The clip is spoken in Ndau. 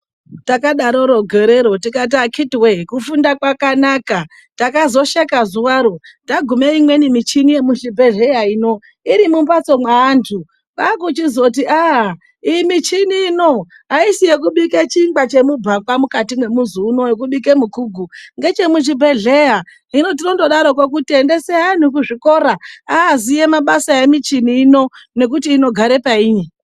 Takadaroro gorero tikati akiti woye kufunda kwakanaka takazosheka zuwa ro tagume imweni michini yemuzvubhehleya ino iri mumbatso mweantu kwaakuchizoti ah iyi michini ino aisi yekubike chingwa chemubhakwa mukati mwemuzi uno yekubike mukugu ngechemuchibhehleya hino tinondodaroko endesai anhu kuchikora aaziye basa remichini ino nekuti inogare painyi.